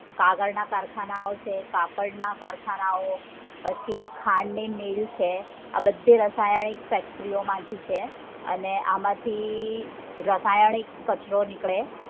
કાગળ ના કારખાનાઓ છે કાપડના કારખાનાઓ છે પછી ખાંડ ની મિલ છે આ બધી રાસાયણિક factory ઓ માંથી છે અને આમાંથી રાસાયણિક કચરો નીકળે